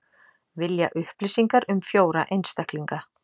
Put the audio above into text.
Vilja upplýsingar um fjóra einstaklinga